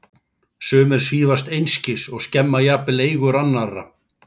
Sumir svífast einskis og skemma jafnvel eigur annarra.